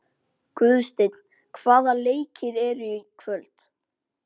Guðsteinn, hvaða leikir eru í kvöld?